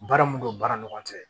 Baara mun don baara ni ɲɔgɔn cɛ